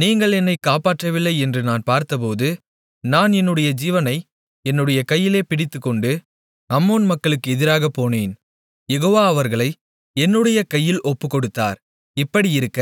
நீங்கள் என்னை காப்பாற்றவில்லை என்று நான் பார்த்தபோது நான் என்னுடைய ஜீவனை என்னுடைய கையிலே பிடித்துக்கொண்டு அம்மோன் மக்களுக்கு எதிராகப்போனேன் யெகோவா அவர்களை என்னுடைய கையில் ஒப்புக்கொடுத்தார் இப்படியிருக்க